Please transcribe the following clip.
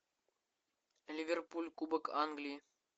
ливерпуль кубок англии